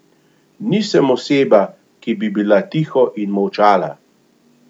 Nisem oseba, ki bi bila tiho in molčala.